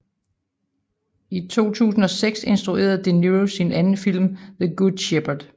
I 2006 instruerede De Niro sin anden film The Good Shepherd